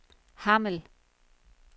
Hammel